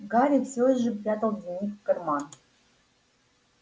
гарри все же прятал дневник в карман